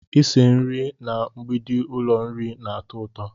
Ịse nri na mgbidi ụlọ nri na-atọ ụtọ